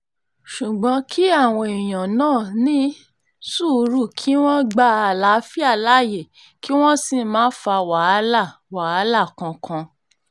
ṣùgbọ́n kí àwọn èèyàn náà ní sùúrù kí wọ́n gba àlàáfíà láàyè kí wọ́n sì má fa wàhálà wàhálà kankan